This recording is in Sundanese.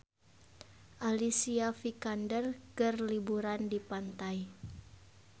Alicia Vikander keur liburan di pantai